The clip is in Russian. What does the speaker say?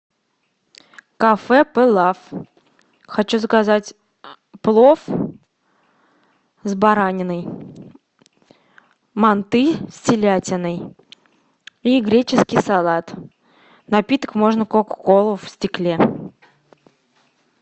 кафе палаф хочу заказать плов с бараниной манты с телятиной и греческий салат напиток можно кока колу в стекле